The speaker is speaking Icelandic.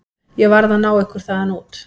Ég varð að ná ykkur þaðan út.